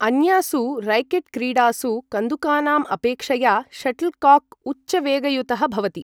अन्यासु रैकेट् क्रीडासु कन्दुकानाम् अपेक्षया शटल्कॉक् उच्च वेगयुतः भवति।